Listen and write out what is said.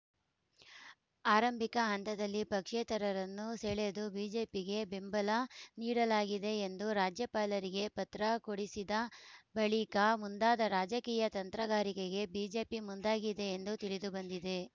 ಆರಂಭಿಕ ಹಂತದಲ್ಲಿ ಪಕ್ಷೇತರರನ್ನು ಸೆಳೆದು ಬಿಜೆಪಿಗೆ ಬೆಂಬಲ ನೀಡಲಾಗಿದೆ ಎಂದು ರಾಜ್ಯಪಾಲರಿಗೆ ಪತ್ರ ಕೊಡಿಸಿದ ಬಳಿಕ ಮುಂದಾದ ರಾಜಕೀಯ ತಂತ್ರಗಾರಿಕೆಗೆ ಬಿಜೆಪಿ ಮುಂದಾಗಿದೆ ಎಂದು ತಿಳಿದುಬಂದಿದೆ